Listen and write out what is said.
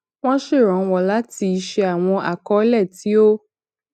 wọn ṣèrànwọ láti ṣe àwọn akọọlẹ tí ó